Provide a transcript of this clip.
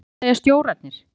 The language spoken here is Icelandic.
Hvað segja stjórarnir?